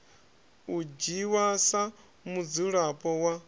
u dzhiwa sa mudzulapo wa